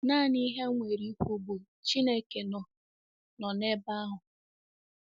Nanị ihe m nwere ikwu bụ Chineke nọ nọ n'ebe ahụ.